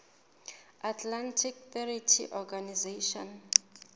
atlantic treaty organization